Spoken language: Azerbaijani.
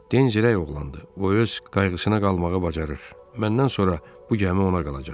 Denz rəy oğlandı, o öz qayğısına qalmağı bacarır, məndən sonra bu gəmi ona qalacaq.